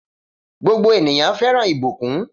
Gbogbo ènìyàn fẹ́ràn ìbùkún.